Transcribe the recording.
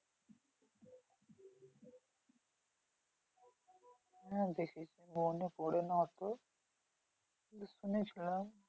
হ্যাঁ দেখেছি মনে পরে না অত, কিন্তু শুনেছিলাম।